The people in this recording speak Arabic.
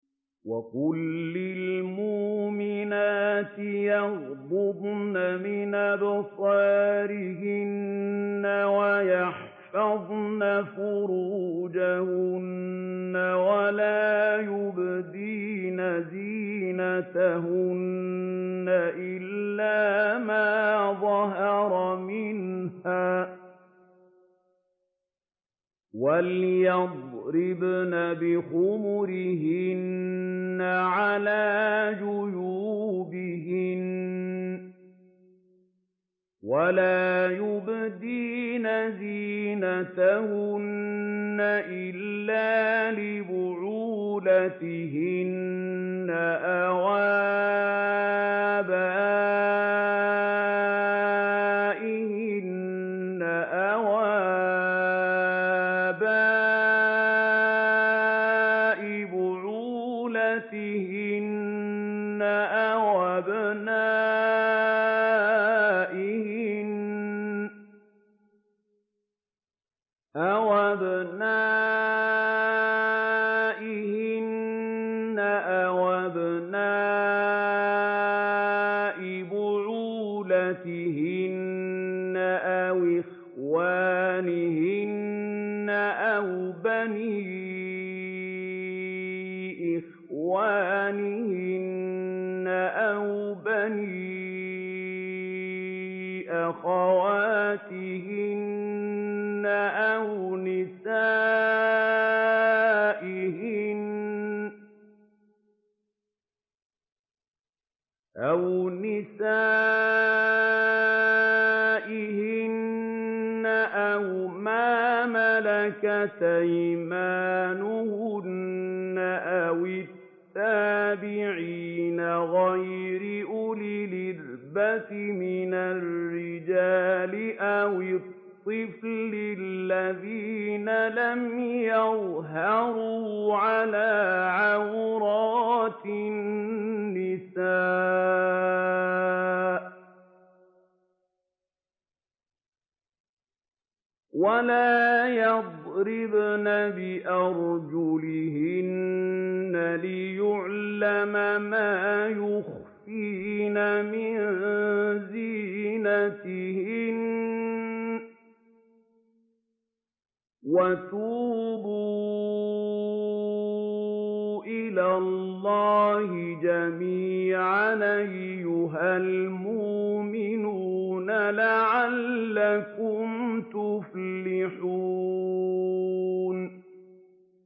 وَقُل لِّلْمُؤْمِنَاتِ يَغْضُضْنَ مِنْ أَبْصَارِهِنَّ وَيَحْفَظْنَ فُرُوجَهُنَّ وَلَا يُبْدِينَ زِينَتَهُنَّ إِلَّا مَا ظَهَرَ مِنْهَا ۖ وَلْيَضْرِبْنَ بِخُمُرِهِنَّ عَلَىٰ جُيُوبِهِنَّ ۖ وَلَا يُبْدِينَ زِينَتَهُنَّ إِلَّا لِبُعُولَتِهِنَّ أَوْ آبَائِهِنَّ أَوْ آبَاءِ بُعُولَتِهِنَّ أَوْ أَبْنَائِهِنَّ أَوْ أَبْنَاءِ بُعُولَتِهِنَّ أَوْ إِخْوَانِهِنَّ أَوْ بَنِي إِخْوَانِهِنَّ أَوْ بَنِي أَخَوَاتِهِنَّ أَوْ نِسَائِهِنَّ أَوْ مَا مَلَكَتْ أَيْمَانُهُنَّ أَوِ التَّابِعِينَ غَيْرِ أُولِي الْإِرْبَةِ مِنَ الرِّجَالِ أَوِ الطِّفْلِ الَّذِينَ لَمْ يَظْهَرُوا عَلَىٰ عَوْرَاتِ النِّسَاءِ ۖ وَلَا يَضْرِبْنَ بِأَرْجُلِهِنَّ لِيُعْلَمَ مَا يُخْفِينَ مِن زِينَتِهِنَّ ۚ وَتُوبُوا إِلَى اللَّهِ جَمِيعًا أَيُّهَ الْمُؤْمِنُونَ لَعَلَّكُمْ تُفْلِحُونَ